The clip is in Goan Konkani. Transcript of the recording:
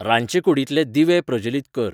रांदचेकूडींतले दिवे प्रजलीत कर